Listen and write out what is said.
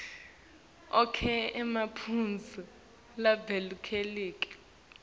onkhe emaphuzu labalulekile